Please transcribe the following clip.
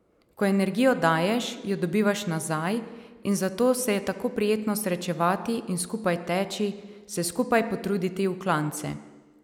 Ko energijo daješ, jo dobivaš nazaj, in zato se je tako prijetno srečevati in skupaj teči, se skupaj potruditi v klance.